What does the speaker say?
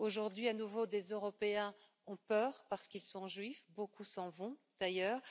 Aujourd'hui, à nouveau, des Européens ont peur parce qu'ils sont juifs, beaucoup s'en vont d'ailleurs.